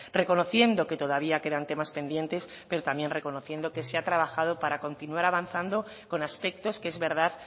reconociendo que todavía quedan temas pendientes pero también reconociendo que se ha trabajado para continuar avanzando con aspectos que es verdad